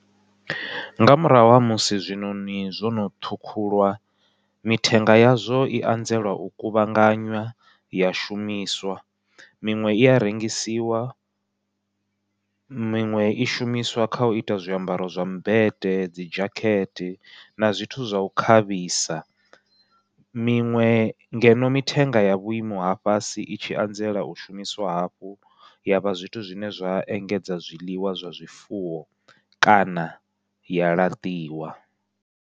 Nga murahu ha musi zwiṋoṋi zwono ṱhukhuliwa mithenga yazwo i anzela u kuvhanganya ya shumiswa, miṅwe ia rengisiwa miṅwe i shumiswa kha uita zwiambaro zwa mmbete dzi dzhakete na zwithu zwa u khavhisa. Miṅwe ngeno mithenga ya vhuimo ha fhasi i tshi anzela u shumiswa hafhu yavha zwithu zwine zwa engedza zwiḽiwa zwa zwifuwo kana ya laṱiwa.